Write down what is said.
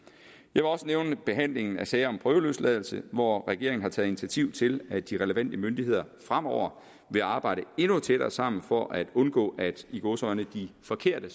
vil også nævne behandlingen af sager om prøveløsladelse hvor regeringen har taget initiativ til at de relevante myndigheder fremover vil arbejde endnu tættere sammen for at undgå at de i gåseøjne forkerte